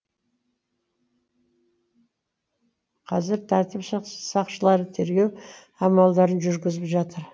қазір тәртіп сақшылары тергеу амалдарын жүргізіп жатыр